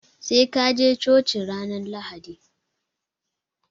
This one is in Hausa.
Sai kaje choci ranar lahadi